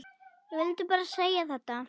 Ég vil bara segja þetta.